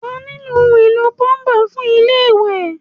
Wà á nílò ohun-èlo púlọ́ḿbà fún ilé-ìwẹ̀.